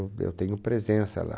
eu tenho presença lá.